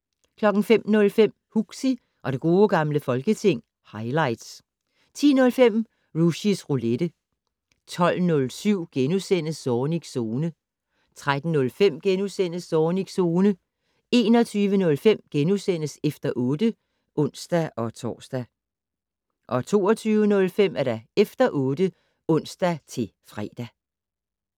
05:05: Huxi og det gode gamle folketing - highlights 10:05: Rushys Roulette 12:07: Zornigs Zone * 13:05: Zornigs Zone * 21:05: Efter 8 *(ons-tor) 22:05: Efter 8 (ons-fre)